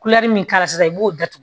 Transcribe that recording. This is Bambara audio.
min k'a la sisan i b'o datugu